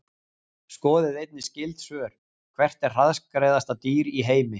Skoðið einnig skyld svör: Hvert er hraðskreiðasta dýr í heimi?